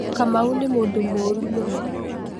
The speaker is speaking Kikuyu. Kamau nĩ mũndũ mũru mũno.